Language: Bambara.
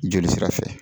Joli sira fɛ